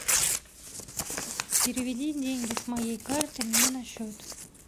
переведи деньги с моей карты мне на счет